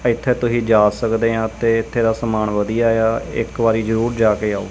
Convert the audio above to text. ਇਥੇ ਤੁਸੀਂ ਜਾ ਸਕਦੇ ਹਾਂ ਤੇ ਇਥੇ ਦਾ ਸਮਾਨ ਵਧੀਆ ਆ ਇੱਕ ਵਾਰੀ ਜਰੂਰ ਜਾ ਕੇ ਆਓ।